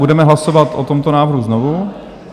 Budeme hlasovat o tomto návrhu znovu.